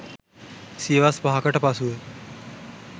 සියවස් 5 කට පසුව